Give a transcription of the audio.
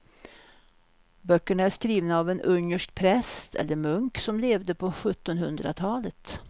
Böckerna är skrivna av en ungersk präst eller munk som levde på sjuttonhundratalet.